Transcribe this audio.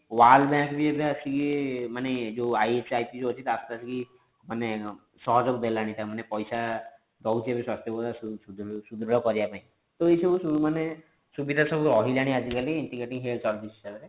world ବି ଏବେ ଆସିକି ଯୋଉ ମାନେ ଯୋଉ ISIC ରହୁଛି ମାନେ ସହଯୋଗ ଦେଲାଣି ମାନେ ପଇସା ଦୋଉଛି ସ୍ୱାସ୍ଥ୍ୟ ବ୍ୟବସ୍ଥା ସୁ ସୁ ସୁଦୃଢ କରିବା ପାଇଁ ତ ଏଇ ସବୁ ମାନେ ସୁବିଧା ସବୁ ରହିଲାଣି ଆଜିକାଲି integrating health service ହିସାବରେ